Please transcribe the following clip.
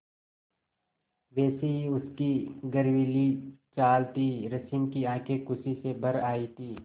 वैसी ही उसकी गर्वीली चाल थी रश्मि की आँखें खुशी से भर आई थीं